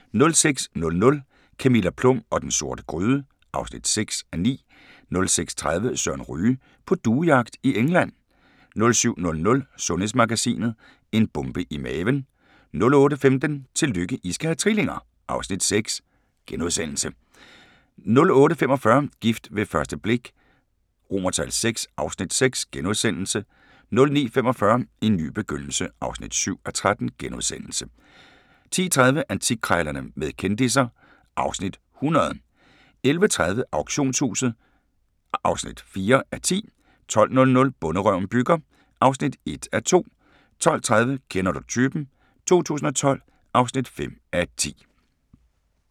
06:00: Camilla Plum og den sorte gryde (6:9) 06:30: Søren Ryge: På duejagt i England 07:00: Sundhedsmagasinet: En bombe i maven 08:15: Tillykke, I skal have trillinger! (Afs. 6)* 08:45: Gift ved første blik VI (Afs. 6)* 09:45: En ny begyndelse (7:13)* 10:30: Antikkrejlerne med kendisser (Afs. 100) 11:30: Auktionshuset (4:10) 12:00: Bonderøven bygger (1:2) 12:30: Kender du typen? 2012 (5:10)